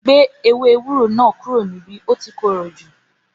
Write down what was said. Gbé ewé ewúro náà kúrò níbí o ti korò jù